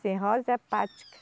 Cirrose hepática.